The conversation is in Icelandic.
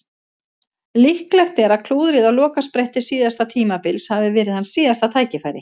Líklegt er að klúðrið á lokaspretti síðasta tímabils hafi verið hans síðasta tækifæri.